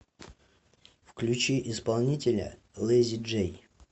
включи исполнителя лэйзи джей